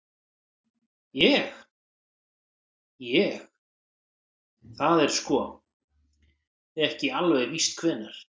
Ég. ég. það er sko. ekki alveg víst hvenær.